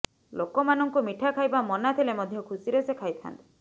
ଲୋକମାନଙ୍କୁ ମିଠା ଖାଇବା ମନା ଥିଲେ ମଧ୍ୟ ଖୁସିରେ ସେ ଖାଇଥାଆନ୍ତି